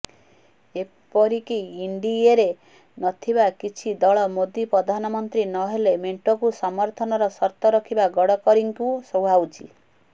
ଏପରିକି ଏନ୍ଡିଏରେ ନଥିବା କିଛି ଦଳ ମୋଦୀ ପ୍ରଧାନମନ୍ତ୍ରୀ ନହେଲେ ମେଣ୍ଟକୁ ସମର୍ଥନର ସର୍ତ୍ତ ରଖିବା ଗଡ଼କରୀଙ୍କୁ ସୁହାଉଛି